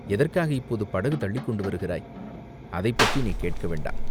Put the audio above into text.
எதற்காக இப்போது படகு தள்ளிக்கொண்டு வருகிறாய்!" "அதைப்பற்றி நீ கேட்க வேண்டாம்.